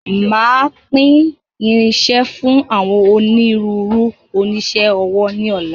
Máa pín irinsẹ́ fún àwọn ònírunru onisẹ́ ọwọ́ ni ọ̀la.